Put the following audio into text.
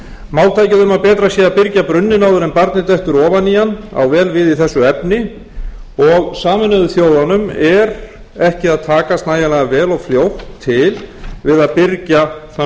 að byrgja brunninn áður en barnið dettur ofan í hann á vel við í þessu efni og sameinuðu þjóðunum er ekki að takast nægjanlega vel og fljótt til við að byrgja þann